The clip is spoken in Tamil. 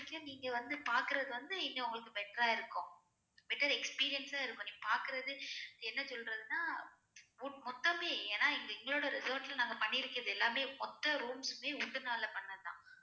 நீங்க வந்து பாக்குறது வந்து இன்னு உங்களுக்கு better ஆ இருக்கும் better experience அ இருக்கும் நீங்க பாக்குறது என்ன சொல்லுறதுன்னா wood மொத்தமே ஏன்னா இங்க எங்களோட resort ல நாங்க பண்ணிறதுக்கு எல்லாமே மொத்த rooms மே wood னால பண்ணது தான்